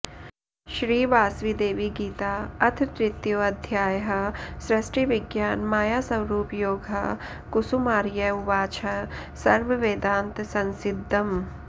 श्री वासविदेवीगीता अथ तृतीयोऽध्यायः सृष्टिविज्ञान मायास्वरूपयोगः कुसुमार्य उवाचः सर्ववेदान्त संसिद्दम्